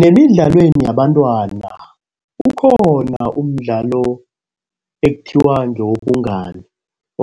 Nemidlalweni, yabantwana ukhona umdlalo ekuthiwa ngewobungani.